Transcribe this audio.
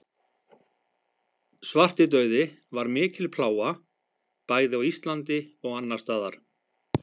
svartidauði var mikil plága bæði á íslandi og annars staðar